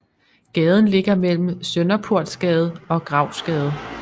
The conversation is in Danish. Gaden ligger mellem Sønderportsgade og Gravsgade